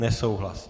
Nesouhlas.